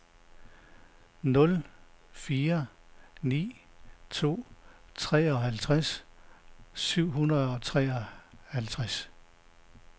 nul fire ni to treoghalvtreds syv hundrede og treoghalvtreds